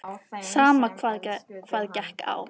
Sama hvað gekk á.